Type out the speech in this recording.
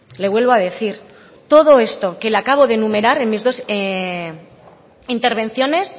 le vuelvo a decir todo esto que le acabo de enumerar en mis dos intervenciones